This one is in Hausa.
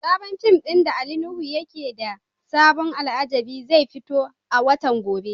Sabon fim din da Ali Nuhu yake da abun alajabi zai fito a watan gobe.